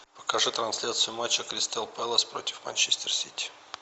покажи трансляцию матча кристал пэлас против манчестер сити